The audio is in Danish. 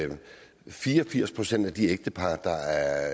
fire og firs procent af de ægtepar der